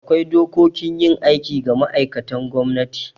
Akwai dokokin yin aiki ga ma'aikatan gwamnati